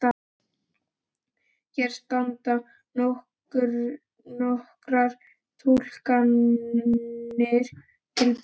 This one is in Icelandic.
Hér standa nokkrar túlkanir til boða.